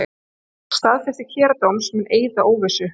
Staðfesting héraðsdóms mun eyða óvissu